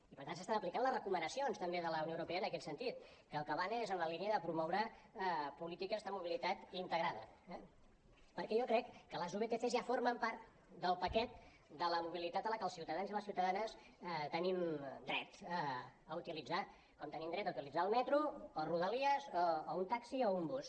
i per tant s’estan aplicant les recomanacions també de la unió europea en aquest sentit que el que van és en la línia de promoure polítiques de mobilitat integrada eh perquè jo crec que les vtcs ja formen part del paquet de la mobilitat que els ciutadans i les ciutadanes tenim dret a utilitzar com tenim dret a utilitzar el metro o rodalies o un taxi o un bus